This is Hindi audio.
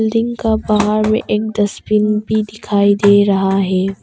बिल्डिंग का बाहर में एक डस्टबिन भी दिखाई दे रहा है।